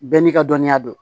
Bɛɛ n'i ka dɔnniya don